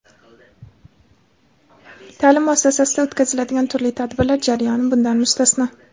ta’lim muassasasida o‘tkaziladigan turli tadbirlar jarayoni bundan mustasno.